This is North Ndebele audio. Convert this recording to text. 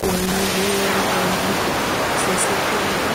kunye lenombolo zesikolo.